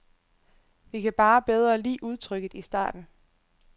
Vi kan bare bedre lide udtrykket i starten.